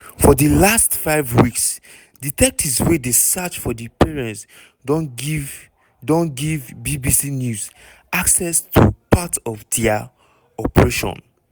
for di last five weeks detectives wey dey search for di parents don give don give bbc news access to part of dia operation.